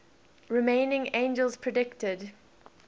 remaining angels predicted